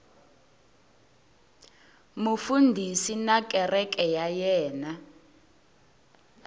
mufundhisi na kereke ya yena